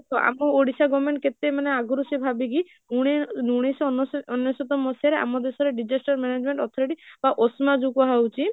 ତ ଆମ ଓଡ଼ିଶା government କେତେ ମାନେ ଆଗରୁ ସେ ଭାବିକି ଉଣେଇସହ ଅନେଶତ ମସିହାରେ ଆମ ଦେଶରେ disaster management authority ବା OSMA ଯୋଉ କୁହା ହଉଛି